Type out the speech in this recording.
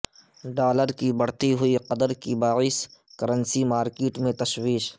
dollar کی بڑھتی ہوئی قدر کے باعث کرنسی مارکیٹ میں تشویش